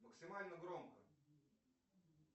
максимально громко